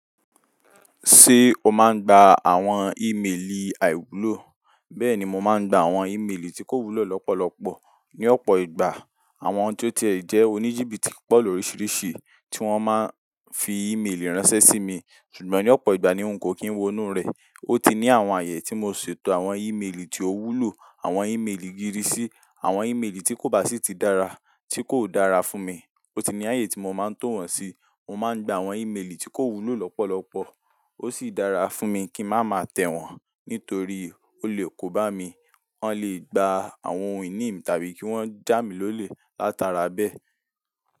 Ṣé o máa ń gba àwọn ìmeèlì àìwúlò? Bẹ́ẹ̀ni, mo máa ń gba àwọn ìmeèlì tí kò wúlò lọ́pọ̀lọpọ̀. Ni ọ̀pọ̀ ìgbà àwọn tí ó ti jẹ́ oníjìbìtì pọ̀ lóríṣiríṣi tí wọ́n máa ń fi ìmeèlì ránṣẹ́ sí mi, ṣùgbọ́n ní ọ̀pọ̀ ìgbà ni n ko kì í wo inú rẹ̀. Ó ti ní àwọn ààyè tí mo ṣètò àwọn ìmeèlì tí ó wúlò, àwọn ìmeèlì gídísì, àwọn ìmeèlì tí kò bá sì ti dára, tí kò dára fún mi. Ó ti ní ààyè tí mo máa ń tò wọ́n sí. Mo máa ń gba àwọn ìmeèlì tí kò wúlò lọ́pọ̀lọpọ̀. Ó sì dára fún mi kí n má máa tẹ̀ wọ́n, nítorí ó lè kó bá mi. Wọ́n lè gbà àwọn ohun ìní mi tàbí kí wọ́n já mi lólè látara bẹ́ẹ̀.